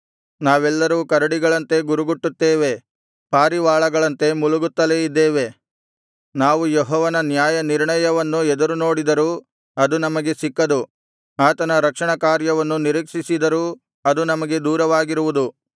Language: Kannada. ನಾವೆಲ್ಲರೂ ಕರಡಿಗಳಂತೆ ಗುರುಗುಟ್ಟುತ್ತೇವೆ ಪಾರಿವಾಳಗಳಂತೆ ಮುಲುಗುತ್ತಲೇ ಇದ್ದೇವೆ ನಾವು ಯೆಹೋವನ ನ್ಯಾಯನಿರ್ಣಯವನ್ನು ಎದುರುನೋಡಿದರೂ ಅದು ನಮಗೆ ಸಿಕ್ಕದು ಆತನ ರಕ್ಷಣಕಾರ್ಯವನ್ನು ನಿರೀಕ್ಷಿಸಿದರೂ ಅದು ನಮಗೆ ದೂರವಾಗಿರುವುದು